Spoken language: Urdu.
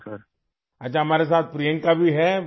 اچھا ، پرینکا بھی ہمارے ساتھ ہے